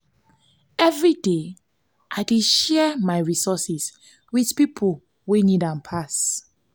every day i dey share my resources with people wey need am pass.